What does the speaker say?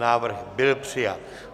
Návrh byl přijat.